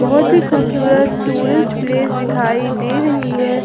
बहोत ही खूबसूरत टूरिस्ट प्लेस दिखाई दे रही है।